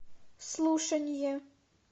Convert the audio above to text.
слушание